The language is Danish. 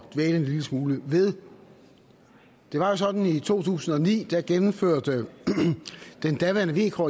dvæle en lille smule ved det var jo sådan i to tusind og ni at da gennemførte den daværende vk